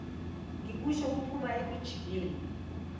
ngikusho kuphuma ekujuleni